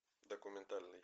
документальный